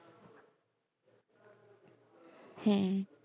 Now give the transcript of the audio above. হ্যাঁ।